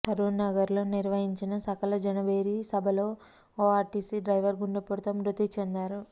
సరూర్ నగర్లో నిర్వహించిన సకల జనభేరీ సభలో ఓ ఆర్టీసీ డ్రైవర్ గుండెపోటుతో మృతి చెందారు